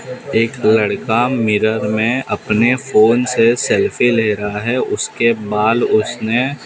एक लड़का मिरर में अपने फोन से सेल्फी ले रहा है उसके बाल उसने--